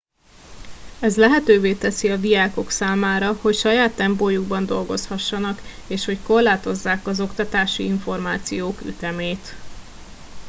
ez lehetővé teszi a diákok számára hogy saját tempójukban dolgozhassanak és hogy korlátozzák az oktatási információk ütemét